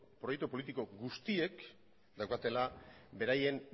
proiektu politiko guztiek daukatela beraien